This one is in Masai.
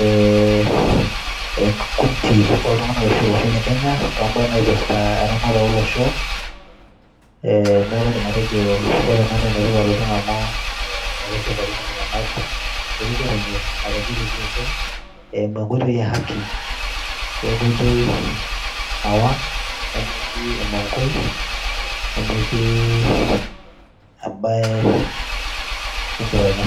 ee enkikundi oltung'anak arashu olosho le Kenya too mbaa naipirta eramatare olosho. Ee neeku aidim atejo ore ena nee enetipat oleng' amu ee keshipakino iltung'anak erikore enye nategelutu oopeny eimu enkoitoi e haki we nkoitoi nawang', nemetii emong'oi, nemetii embaye enkironya.